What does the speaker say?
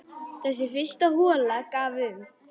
Þessi fyrsta hola gaf um